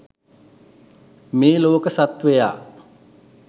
මේ ලෝක සත්ත්වයා